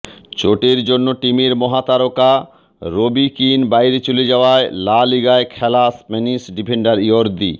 চোটের জন্য টিমের মহাতারকা রবি কিন বাইরে চলে যাওয়ায় লা লিগায় খেলা স্প্যানিশ ডিফেন্ডার ইয়র্দি